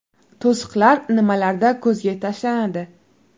To‘siqlar nimalarda ko‘zga tashlanadi?